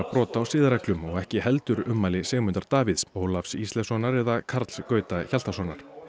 brot á siðareglum og ekki heldur ummæli Sigmundar Davíðs Ólafs Ísleifssonar eða Karls Gauta Hjaltasonar